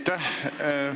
Aitäh!